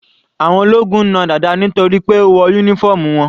Àwọn ológun na Dada nítorí pé ó wọ uniform wọn.